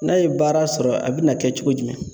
N'a ye baara sɔrɔ a bina kɛ cogo jumɛn ?